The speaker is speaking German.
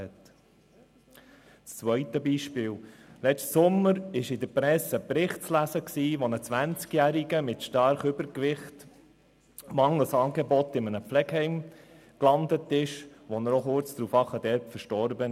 Noch ein zweites Beispiel: Im vergangenen Sommer war in der Presse in einem Artikel zu lesen, dass ein 20Jähriger mit starkem Übergewicht mangels Angebot in einem Pflegeheim landete und kurz darauf dort starb.